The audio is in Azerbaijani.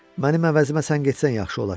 Mənim əvəzimə sən getsən yaxşı olar.